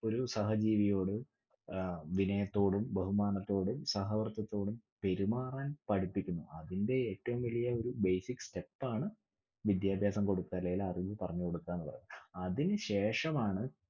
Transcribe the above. ഒരു സഹജീവിയോട് അഹ് വിനയത്തോടും ബഹുമാനത്തോടും പെരുമാറാൻ പഠിപ്പിക്കുന്നു. അതിന്റെ ഏറ്റവും വലിയഒരു basic step ആണ് വിദ്യാഭ്യാസംകൊടുക്കല് അല്ലേൽ അറിവ് പറഞ്ഞുകൊടുക എന്നുള്ളത്. അതിനു ശേഷമാണ്